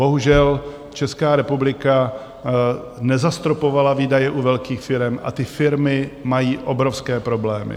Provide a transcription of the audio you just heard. Bohužel Česká republika nezastropovala výdaje u velkých firem a ty firmy mají obrovské problémy.